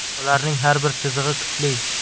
Ularning har bir chizig‘i kuchli.